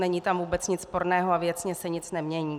Není tam vůbec nic sporného a věcně se nic nemění.